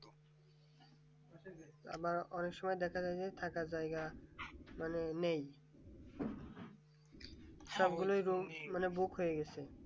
আবার অনেক সময় দেখা যায় যে থাকার জায়গা মানে নেই।